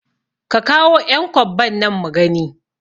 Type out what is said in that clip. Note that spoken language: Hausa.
Ka kawo ƴan kwabban nan mugani